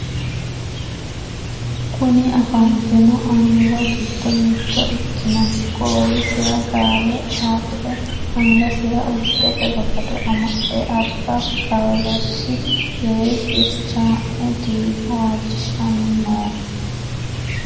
Kuni afantino annuwa giddo mitto ikkinohu goowisira gaawe dhaaxire angasira urdete bagado amadhe alba kolossi yee xirchaa'me diina waajishiishanni nooho.